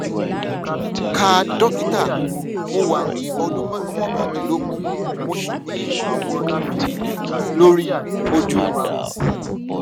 káà dókítà mo wà ní ọdún mókàndínlógún mo sì ní àwọn ibi funfun lórí ojú mi